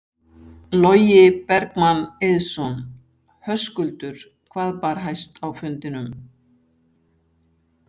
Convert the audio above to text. Logi Bergmann Eiðsson: Höskuldur hvað bar hæst á fundinum?